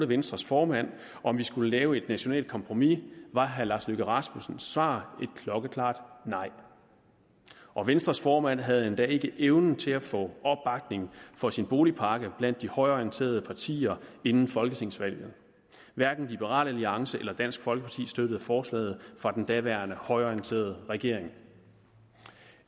venstres formand om vi skulle lave et nationalt kompromis var herre lars løkke rasmussens svar et klokkeklart nej og venstres formand havde endda ikke evnen til at få opbakning for sin boligpakke blandt de højreorienterede partier inden folketingsvalget hverken liberal alliance eller dansk folkeparti støttede forslaget fra den daværende højreorienterede regering